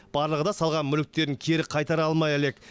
барлығы да салған мүліктерін кері қайтара алмай әлек